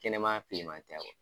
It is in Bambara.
Kɛnɛman filiman tɛ